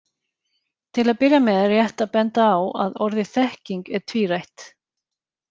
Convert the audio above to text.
Til að byrja með er rétt að benda á að orðið þekking er tvírætt.